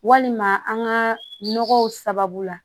Walima an ka nɔgɔw sababu la